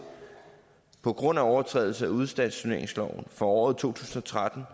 på grund af overtrædelse af udstationeringsloven for året to tusind og tretten